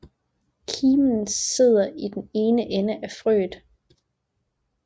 Kimen sidder i den ene ende af frøet